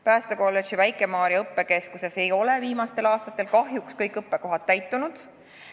Päästekolledži Väike-Maarja õppekeskuses ei ole viimastel aastatel kahjuks kõik õppekohad täitunud.